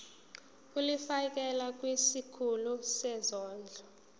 ulifiakela kwisikulu sezondlo